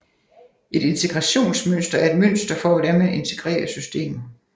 Et integrationsmønster er et mønster for hvordan man integrerer systemer